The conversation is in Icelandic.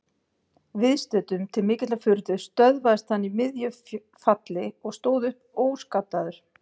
Viðstöddum til mikillar furðu stöðvaðist hann í miðju falli og stóð upp óskaddaður.